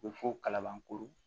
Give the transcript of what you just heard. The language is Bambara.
U bɛ fɔ kalabankoro